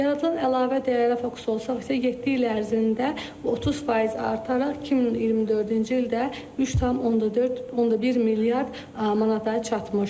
Yaradılan əlavə dəyərlə fokus olsaqsa 7 il ərzində 30% artaraq 2024-cü ildə 3,4,1 milyard manata çatmışdır.